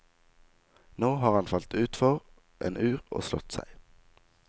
Nå har han falt utfor en ur og slått seg.